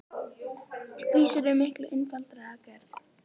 Vísur eru miklu einfaldari að gerð.